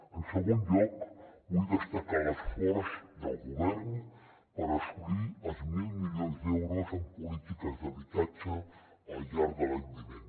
en segon lloc vull destacar l’esforç del govern per assolir els mil milions d’euros en polítiques d’habitatge al llarg de l’any vinent